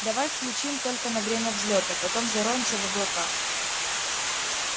давай включим только на время взлёта потом зароемся в облака